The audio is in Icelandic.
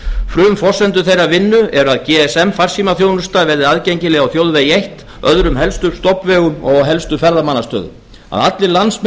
frumforsendur þeirrar vinnu er að gsm farsímaþjónusta verði aðgengileg á þjóðvegi eitt öðrum helstu stofnvegum og á helstu ferðamannastöðum að allir landsmenn